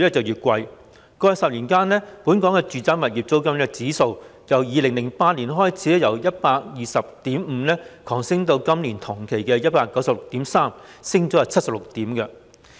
在過去10年間，本港的住宅物業租金指數由2008年的 120.5 急升至今年同期的 196.3， 上升76點。